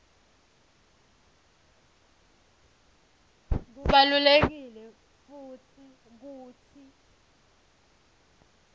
kubalulekile futsi kutsi